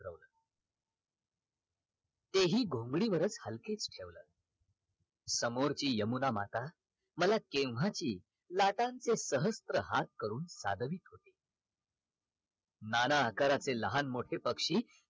ते हि घोंगडीवरच हलकेत फिरवल समोरची यमुना माता मला केव्हाची लाटांचे सहस्त्र हाथ करून सादवीत होती नाना प्रकारचे लहान मोठे पक्षी